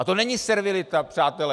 A to není servilita, přátelé!